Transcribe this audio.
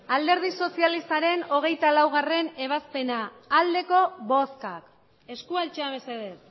alderdi sozialistaren hogeita laugarrena ebazpena aldeko bozkak eskua altxa mesedez